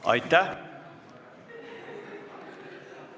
Aitäh!